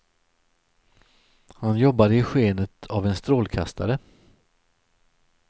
Han jobbade i skenet av en strålkastare.